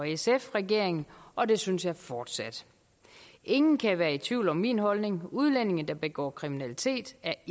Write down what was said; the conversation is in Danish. sf regeringen og det synes jeg fortsat ingen kan være i tvivl om min holdning udlændinge der begår kriminalitet er